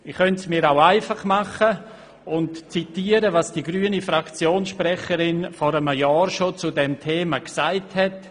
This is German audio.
Ich könnte es mir einfach machen und zitieren, was die grüne Fraktionssprecherin schon vor einem Jahr zu diesem Thema gesagt hat.